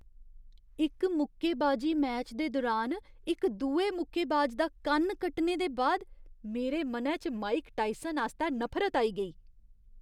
इक मुक्केबाजी मैच दे दुरान इक दुए मुक्केबाज दा कन्न कट्टने दे बाद मेरे मनै च माइक टायसन आस्तै नफरत आई गेई।